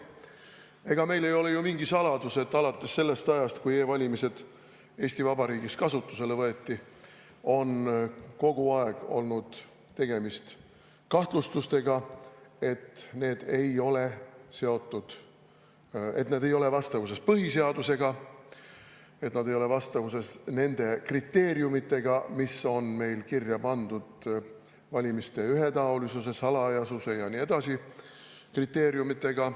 Ega ei ole ju mingi saladus, et alates sellest ajast, kui e-valimised Eesti Vabariigis kasutusele võeti, on kogu aeg olnud kahtlustusi, et need ei ole vastavuses põhiseadusega, et need ei ole vastavuses nende kriteeriumidega, mis on meil kirja pandud: valimiste ühetaolisuse, salajasuse ja nii edasi kriteeriumidega.